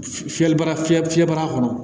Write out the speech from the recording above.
Fiyɛli bara fiyɛ fiyɛbara kɔnɔ